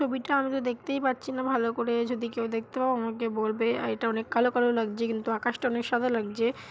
ছবিটা আমি দেখতেই পাচ্ছি না ভালো করে যদি কেউ দেখতে পাও আমাকে বলবে। এটা অনেক কালো কালো লাগছে কিন্তু আকাশ টা অনেক সাদা লাগছে ।